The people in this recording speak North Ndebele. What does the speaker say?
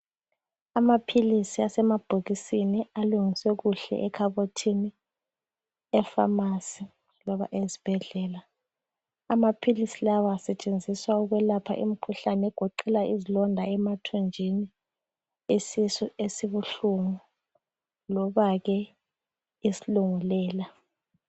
Amaphilizi asemabhokisini alungiswe kuhle ekhabothini epharmacy loba esibhedlela. Amaphilizi lawa asetshenziswa ukwelapha imikhuhlane egoqela izilonda emathunjini, isisu esibuhlungu loba-ke isilungulela.